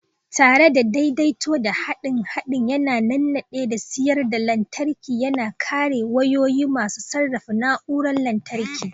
Tare da daidaito, haɗin haɗin yana nannade da siyar da lantarki, yana kare wayoyi masu sarrafa na'urorin lantarki.